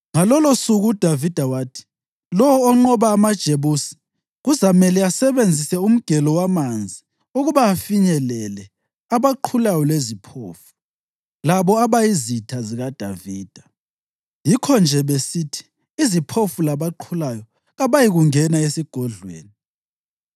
Ngalolosuku uDavida wathi, “Lowo onqoba amaJebusi kuzamele asebenzise umgelo wamanzi ukuba afinyelele ‘abaqhulayo leziphofu’ labo abayizitha zikaDavida.” Yikho-nje besithi, “Iziphofu labaqhulayo” kabayikungena esigodlweni.